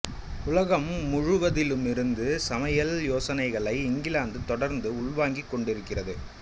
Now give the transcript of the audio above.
உலகம் முழுவதிலுமிருந்து சமையல் யோசனைகளை இங்கிலாந்து தொடர்ந்து உள்வாங்கிக் கொண்டிருக்கிறது